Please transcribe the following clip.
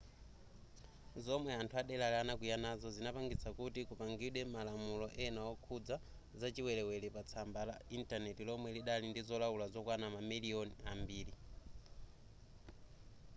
zomwe anthu adelari anakwiya nazo zinapangitsa kuti kupangidwe malamulo ena okhudzana zachiwelewele patsamba la intaneti lomwe lidali ndi zolaula zokwana mamiliyoni ambiri